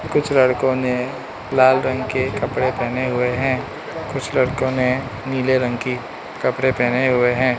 कुछ लड़कों ने लाल रंग के कपड़े पेहने हुए हैं कुछ लड़कों ने नीले रंग की कपड़े पेहने हुए हैं।